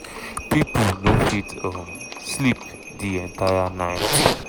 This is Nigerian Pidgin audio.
"pipo no fit um sleep di entire night.